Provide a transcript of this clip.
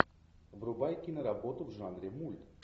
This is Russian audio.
врубай киноработу в жанре мульт